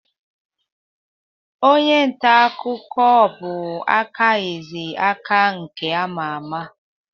Onye nta akụkọ bụ Aka Eze Aka nke ama ama.